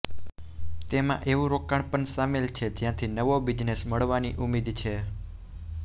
તેમાં એવું રોકાણ પણ શામેલ છે જ્યાંથી નવો બિઝનેસ મળવાની ઉમીદ છે